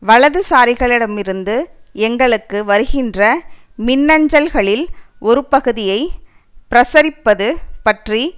வலதுசாரிகளிடமிருந்து எங்களுக்கு வருகின்ற மின்னஞ்சல்களில் ஒரு பகுதியை பரசுரிப்பது பற்றி